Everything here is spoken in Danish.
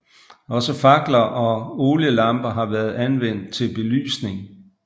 Også fakler og olielamper har været anvendt til belysning